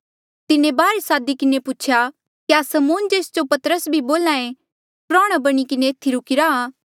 तिन्हें बाहर सादी किन्हें पूछेया क्या समौन जेस जो पतरस भी बोल्हा ऐें प्रौहणा बणी किन्हें एथी रुकी रा